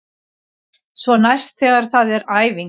Svo næst þegar það er æfing.